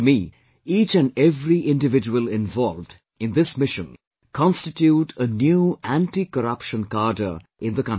To me, each and every individual involved in this mission constitute a new anticorruption cadre in the country